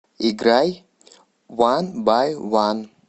играй уан бай уан